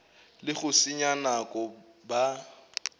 le go senya nako ba